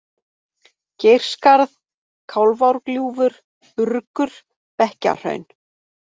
Geirskarð, Kálfárgljúfur, Urgur, Bekkjahraun